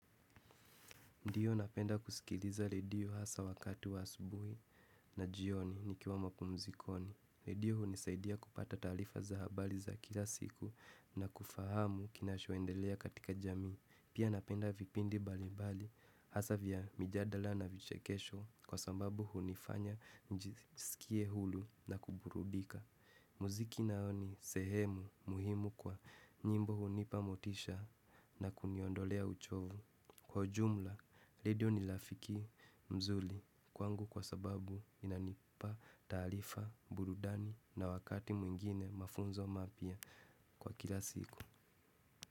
Ndio napenda kusikiliza redio hasa wakati wa asubuhi na jioni nikiwa mapumzikoni. Redio hunisaidia kupata taarifa za habari za kila siku na kufahamu kinachoendelea katika jamii. Pia napenda vipindi mbali mbali hasa vya mijadala na vichekesho kwa sababu hunifanya njisikie huru na kuburudika. Muziki nao ni sehemu muhimu kwa nyimbo hunipa motisha na kuniondolea uchovu. Kwa ujumla, redio ni rafiki mzuri kwangu kwa sababu inanipa taarifa, burudani na wakati mwingine mafunzo mapya kwa kila siku.